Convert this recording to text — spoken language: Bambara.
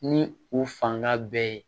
Ni u fanga bɛɛ ye